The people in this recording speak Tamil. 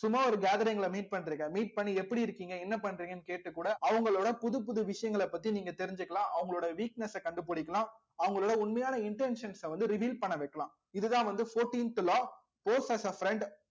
சும்மா ஒரு gathering ல meet பண்றீங்க meet பண்ணி எப்படி இருக்கீங்க என்ன பண்றீங்கன்னு கேட்டு கூட அவங்களோட புதுப்புது விஷயங்களைப் பத்தி நீங்க தெரிஞ்சுக்கலாம் அவங்களோட weakness அ கண்டுபிடிக்கலாம் அவங்களோட உண்மையான intentions ஐ வந்து reveal பண்ண வைக்கலாம் இதுதான் வந்து fourteenth law pose as friend